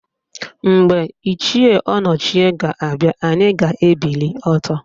Mgbe Ichie Ọnọchie ga-abịa, anyị ga-ebili ọtọ